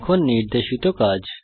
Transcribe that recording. এখন নির্দেশিত কাজ